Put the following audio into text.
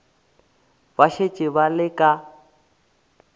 ba šetše ba le ka